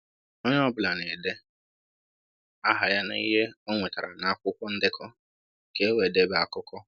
Onye ọ bụla na-ede aha ya na ihe o nwetara na akwụkwọ ndekọ ka e wee debe akụkọ.